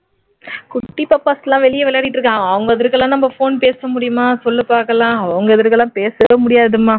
குட்டி பாப்பாஸ் எல்லாம் வெளியே விளையாடிட்டு இருக்காங்க அவங்க எதிர்க்கலாம் நாம போன் பேச முடியுமா சொல்லு பாக்கலாம் உங்க எதிர்க்கலாம்பேசவே முடியாதும்மா